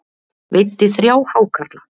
Veiddi þrjá hákarla